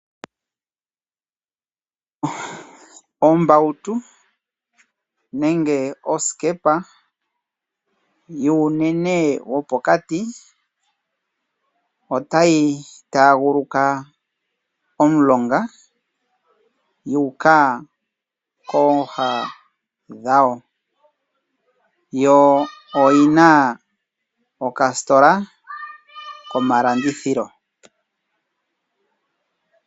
Ombautu nenge oskepa yuunene wo pokati otayi taguluka omulonga yu uka koha dhago, yo oyi na okastola komalandithilo.